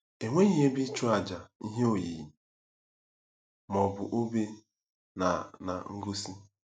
Enweghị ebe ịchụàjà, ihe oyiyi, ma ọ bụ obe na na ngosi.